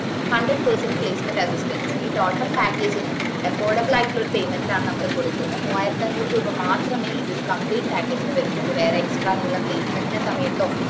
hundred percetage placement assisstance ഈ total package ന് affordable ആയിട്ടുള്ള ഒരു payment ലാണ് നമ്മള് കൊടുക്കുന്നേ മൂവായിരത്തിഅഞ്ഞൂറ് രൂപ മാത്രമേ ഈ ഒരു compleate package ന് വരുന്നുള്ളു വേറെ extra നിങ്ങള placement ന്റെ സമയത്തോ